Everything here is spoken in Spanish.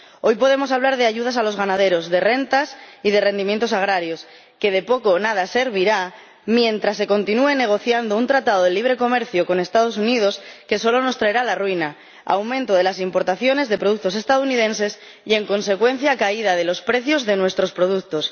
Hoy podemos hablar de ayudas a los ganaderos, de rentas y de rendimientos agrarios, que de poco o nada servirán mientras se continúe negociando un tratado de libre comercio con los Estados Unidos que solo nos traerá la ruina, el aumento de las importaciones de productos estadounidenses y, en consecuencia, la caída de los precios de nuestros productos.